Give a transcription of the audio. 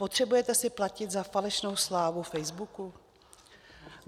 Potřebujete si platit za falešnou slávu Facebooku?